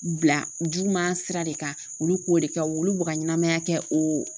Bila juguman sira de kan olu k'o de kɛ olu b'u ka ɲɛnamaya kɛ o